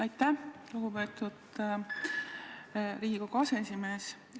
Aitäh, lugupeetud Riigikogu aseesimees!